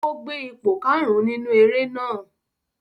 Ó gbé ipò karùn-ún nínú eré náà.